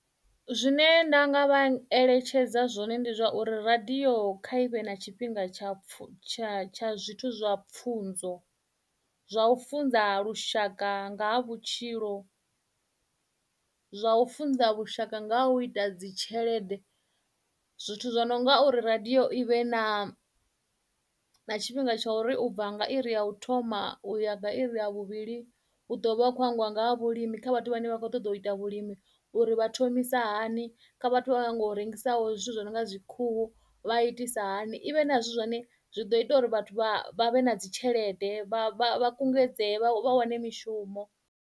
Zwine nda nga vha eletshedza zwone ndi zwa uri radio kha ivhe na tshifhinga tsha pfu tsha tsha zwithu zwa pfunzo zwa u funza lushaka nga ha vhutshilo zwa u funza vhushaka nga u ita dzi tshelede zwithu zwo no nga uri radio ivhe na tshifhinga tsha uri u bva nga iri ya u thoma u ya vha iri ha vhuvhili hu ḓo vha vha hu kho angwa nga ha vhulimi kha vhathu vhane vha khou ṱoḓa u ita vhulimi uri vha thomisa hani kha vhathu vhakho nyago rengisaho zwithu zwi no nga dzi khuhu vha itisa hani i vhe na zwine zwi ḓo ita uri vhathu vha vhe na dzi tshelede vha kungedzee vha wane mishumo.